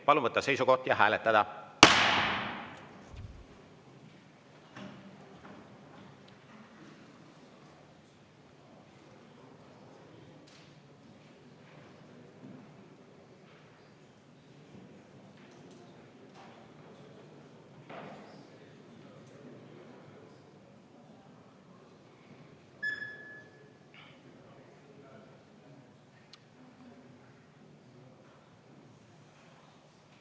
Palun võtta seisukoht ja hääletada!